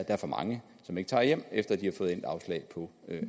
er for mange som ikke tager hjem efter de har fået afslag på